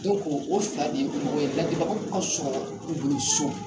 Dɔnku o fila de ye mɔgɔ ye lardilibagaw ka sɔrɔ u bolo so .